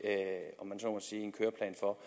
når